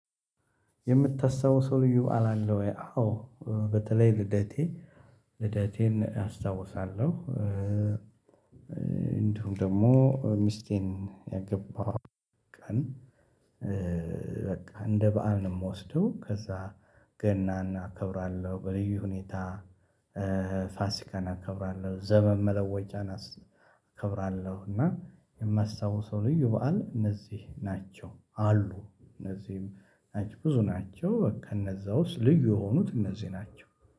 የምታስታውሰው ልዩ በዓል አለ ወይ? አዎ በተለይ ልደቴ ልደቴን አስታውሳለሁ። እንዲሁም ደግሞ ሚስቴን ያገባሁ ቀን። በቃ እንደ በዓል ነው የምወስደው ከዛ ገናን እናከብራለሁ በልዩ ሁኔታ። ፋሲካን አከብራለሁ ዘመን መለወጫን አከብራለሁ እና የማስታውሰው ልዩ በዓል እነዚህ ናቸው። አሉ እነዚህም ናቸው ብዙ ናቸው ከእነዛ ውስጥ ልዩ የሆኑት እነዚህ ናቸው።